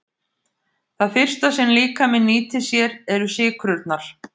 Það fyrsta sem líkaminn nýtir sér eru sykrurnar.